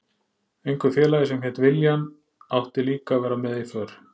Einhver félagi sem hét William átti líka að vera með í för.